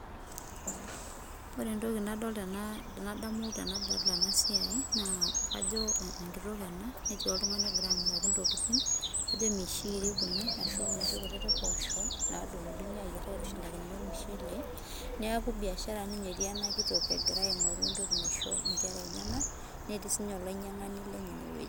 Ore entoki nadamu tenadol ena siai, naa kajo enkitok ena netii oltungani ogira amiraki intokitin. Kajo emishiiri kuna ashuu inoshi kutiti poosho naadungudungi aitushulaki ormushele neaku buiashara etii enakitok egira aingoru entoki naisho inkera enyenak. Netii siininye olinyiangani lenye ine wueji